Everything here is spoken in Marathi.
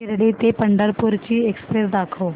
शिर्डी ते पंढरपूर ची एक्स्प्रेस दाखव